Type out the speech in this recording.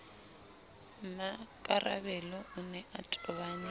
mmakarabelo o ne a tobane